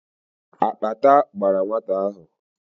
Akpata gbàrà nwata ahụ